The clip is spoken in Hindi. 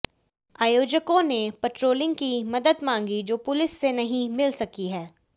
आयोजकों ने पेट्रोलिंग की मदद मांगी जो पुलिस से नहीं मिल सकी है